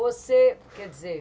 Você, quer dizer,